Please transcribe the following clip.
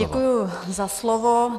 Děkuji za slovo.